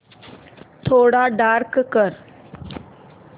थोडा डार्क कर